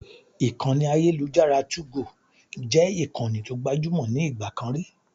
Ìkànnì ayélujára 2go jẹ́ ìkànnì tó gbajúmò ní ìgbà kan rí.